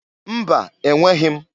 Mba! Enweghi m.